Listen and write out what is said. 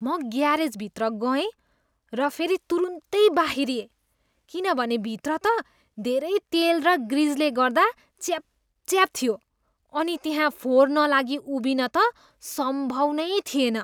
म ग्यारेजभित्र गए र फेरि तुरुन्दै बाहिरिएँ किनभने भित्र त धेरै तेल र ग्रिजले गर्दा च्यापच्याप थियो अनि त्यहाँ फोहोर नलागी उभिन त सम्भव नै थिएन।